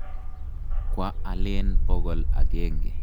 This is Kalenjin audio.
Kwa alen pokol akenge.